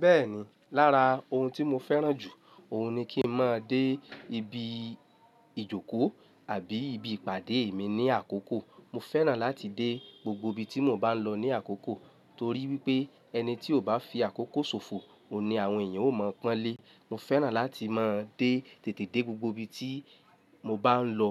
Bẹ́ẹ̀ni, lára ohun tí mo fẹ́ràn jù, òhun ni kí n máa dé ibi ìjókòó àbí ibi ìpàdé mi ní àkókò. Mo fẹ́ràn láti dé gbogbo ibi tí mò ń bá lọ ní àkókò torí wípé ẹni tí ò bá fi àkókò ṣòfò, òní àwọn èèyàn ó mọ̀ pọ́n lé. Mo fẹ́ràn láti máa dé tètè dé gbogbo ibi tí mo bá ń lọ,